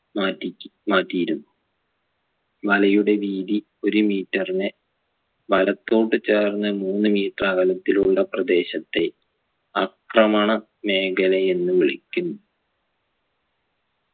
മാറ്റിയി മാറ്റിയിരുന്നു വലയുടെ വീതി ഒരു metre നെ വലത്തോട്ട് ചേർന്ന് മൂന്ന് metre അകലത്തിലുള്ള പ്രദേശത്തെ ആക്രമണ മേഖലയെന്നു വിളിക്കുന്നു